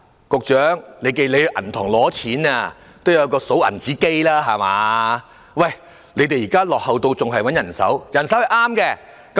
局長，當銀行都有數鈔機了，你們卻落後到仍然用人手點票。